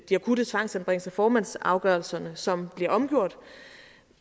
de akutte tvangsanbringelser formandsafgørelserne som bliver omgjort